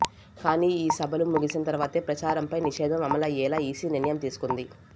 కానీ ఈ సభలు ముగిసిన తర్వాతే ప్రచారంపై నిషేధం అమలయ్యేలా ఈసీ నిర్ణయం తీసుకుంది